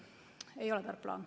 Ei ole tark plaan.